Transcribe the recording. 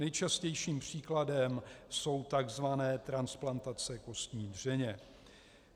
Nejčastějším příkladem jsou tzv. transplantace kostní dřeně.